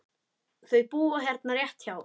Þau búa hérna rétt hjá.